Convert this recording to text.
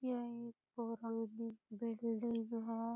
यह एक पुरानी बिल्डिंग है।